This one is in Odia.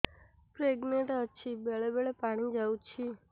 ପ୍ରେଗନାଂଟ ଅଛି ବେଳେ ବେଳେ ପାଣି ଯାଉଛି